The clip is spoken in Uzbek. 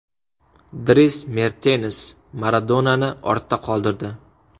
Dris Mertens Maradonani ortda qoldirdi.